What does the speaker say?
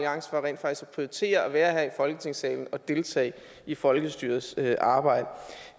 prioritere at være her i folketingssalen og deltage i folkestyrets arbejde